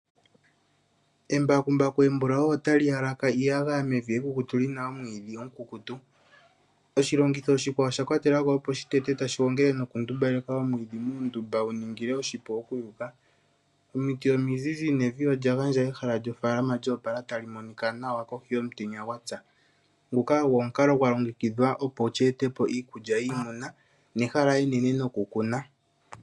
Embakumbaku embulau otali halaka iiyagaya mevi ekukutu, lina omwiidhi omukukutu. Oshilongitho oshikwao osha kwatelwa ko opo shitete tashi gongele nokutumbaleka omwiidhi muundumba , gu nigilwe oshipu gwokuyuka. Omiti omizizi nevi olya gandja ehala lyofaalama lyo opala tali monika nawa kohi yomutenya gwa tsa. Nguka ogwo omukalo gwa longekidhwa opo evi li etepo iikulya yiimuna nehala enene nokukuna.